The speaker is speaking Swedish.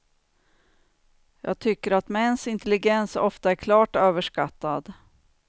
Jag tycker att mäns intelligens ofta är klart överskattad.